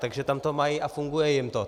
Takže tam to mají a funguje jim to.